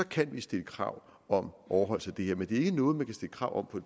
kan vi stille krav om overholdelse af det her men det er ikke noget man kan stille krav om